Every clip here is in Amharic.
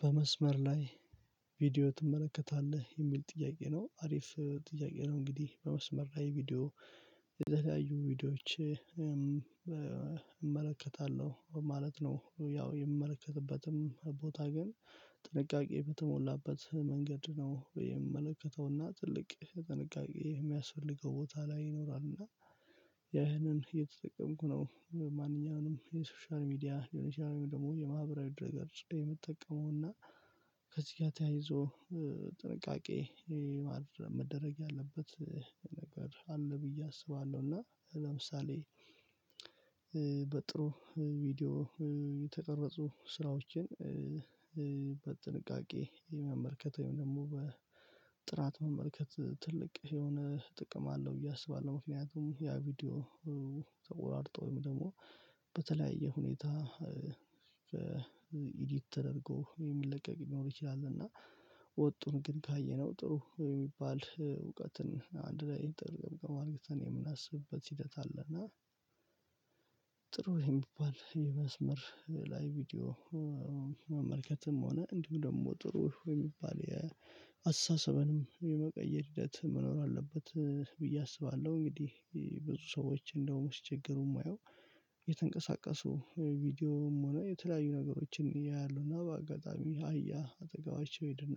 በመስመር ላይ ቪዲዮ ትመለከታለህ የሚል ጥያቄ ነው አሪፍ ጥያቄ ነው እንግዲህ በመስመር ላይ ቪዲዮ የለያዩ ቪዲዮዎች እመለከታለሁ ማለት ነው። ያው የምመለከትበትም ቦታ ግን ጥንቃቄ በተሞላበት መንገድ ነው የምመለከተውና ትልቅ ጥንቃቄ የሚያስፈልገው ቦታ ላይ ይኖራል። እና ያንን እየተጠቀምኩ ነው ማንኛውንም የሶሻል ሚዲያ ሊሆነ ይችላል። ደግሞ የማህበራዊ ድህረ ገጾች የምጠቀመው አና ከዚህ ጋር ተያይዞ ጥንቃቄ መደረግ ያለበት ነገር አለ ብዬ አስባለሁ። እና ለምሳሌ በጥሩ ቪዲዮ የተቀረጹ ስራዎችን በጥንቃቄ የመመልከት ወይም ደግሞ በጥራት መመልከት ትልቅ የሆነ ጥቅም አለው ብዬ አስባለሁ። ምክንያቱም ያ ቪዲዮ ወርጦ ወይም ደግሞ በተለያየ ሁኔታ ኢዲት ተደርጎ የሚለቀቅ ሊኖር ይችላል። እና ወጡን ግን ካየነው ጥሩ የሚባል እውቀትን አንድ ላይ ኢንተርቪው አልግሎትን የምናስብበት ሂደት አለ። እና ጥሩ የሚባል የመስመር ላይ ቪዲዮ መመልከትም ሆነ እንዲሁ ደግሞ ጥሩ የሚባል የአስተሳሰብንም የመቀየር ሂደት መኖር አለበት ብዬ አስባለሁ። እንግዲህ ብዙ ሰዎች እንደውም ሲቸገሩ የማየው የተንቀሳቀሱ ቪዲዮም ሆነ የተለያዩ ነገሮችን ያያሉ። እና በአጋጣሚ አህያ አጠገባቸው ሄደ እና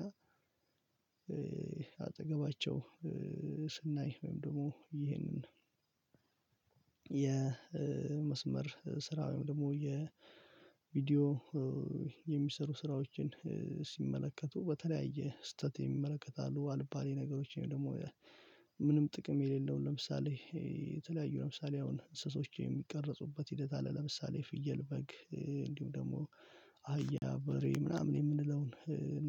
አጠገባቸው ስናይ ወይም ደግሞ ይሄንን የመስመር ስራ ወይም ደግሞ የቪዲዮ የሚሰሩ ስራዎችን ሲመለከቱ በተለያየ ስህተት የሚመለከት አሉ። አልባሌ ነገሮችን ደግሞ ምንም ጥቅም የሌለውን ለምሳሌ የተለያዩ ለምሳሌ አሁን እንስሶችን የሚቀረጹበት ሂደት አለ ለምሳሌ ፍየል በግ እንዲሁም ደግሞ አህያ በሬ ምናምን የምንለውን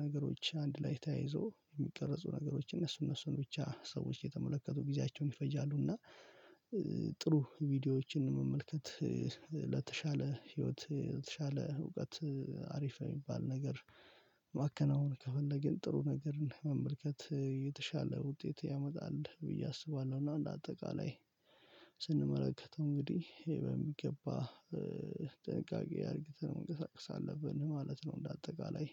ነገሮች አንድ ላይ ተያይዞ የሚቀርጹ ነገሮች እነሱ እነሱን ብቻ ሰዎች የተመለከቱ ጊዜያቸውን ይፈጃሉ። እና ጥሩ ቪዲዮዎችን መመልከት ለተሻለ ህይወት ለተሻለ እውቀት አሪፍ የሚባል ነገር ማከናወን ከፈለግን ጥሩ ነገርን መመልከት የተሻለ ውጤት ያመጣል ብዬ አስባለሁ። እና እንደ አጠቃላይ ስንመለከተው እንግዲህ ይሄ በሚገባ ጥንቃቄ አድርገን መንቀሳቀስ አለብን ማለት ነው። እንደ አጠቃላይ